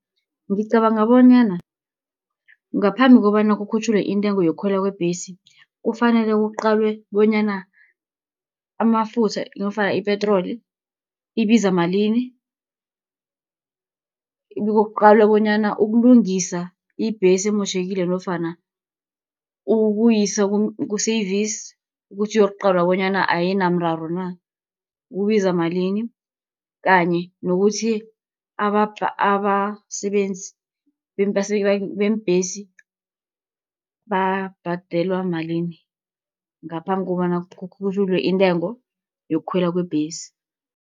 Ngicabanga bonyana ngaphambi kobana kukhutjhulwe intengo yokukhwela kwebhesi, kufanele kuqalwe bonyana amafutha nofana ipetroli ibiza malini. Bekuqalwe bonyana ukulungisa ibhesi emotjhekile nofana ukuyisa ku-service, ukuthi iyokuqalwa bonyana ayinamraro na, kubiza malini. Kanye nokuthi abasebenzi beembhesi babhadelwa malini, ngaphambi kobana kukhutjhulwe intengo yokukhwela kwebhesi.